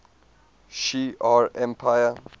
shi ar empire